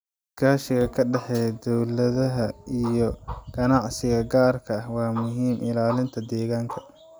Iskaashiga ka dhexeeya dowladaha iyo ganacsiga gaarka ah waa muhiim ilaalinta deegaanka.